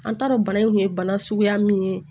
An t'a dɔn bana in kun ye bana suguya min ye